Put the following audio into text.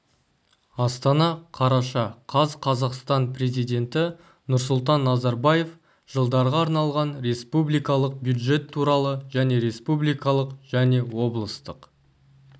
астана қараша қаз қазақстан президенті нұрсұлтан назарбаев жылдарға арналған республикалық бюджет туралы және республикалық және облыстық